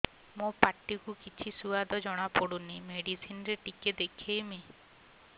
ମୋ ପାଟି କୁ କିଛି ସୁଆଦ ଜଣାପଡ଼ୁନି ମେଡିସିନ ରେ ଟିକେ ଦେଖେଇମି